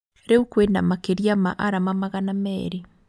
Riũ kwĩna makĩria ma arama magana merĩ